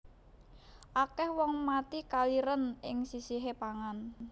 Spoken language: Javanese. Akeh wong mati kaliren ing sisihe pangan